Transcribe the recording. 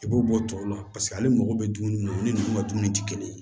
I b'o bɔ tɔw la paseke ale mago bɛ dumuni min na olu ni nunnu ka dumuni ti kelen ye